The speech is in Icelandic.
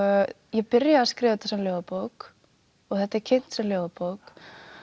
ég byrjaði að skrifa þetta sem ljóðabók og þetta er kynnt sem ljóðabók